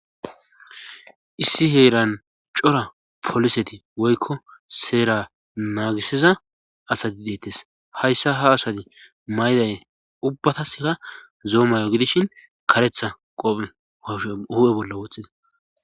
Issi heeran cora poliseti woykko seera naagisiza asati deettes hayssa ha asati mayday ubbataska zoomayo gidishin karetha qophe sho hu"e bolla woxxida